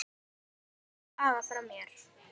Kysstu afa frá mér.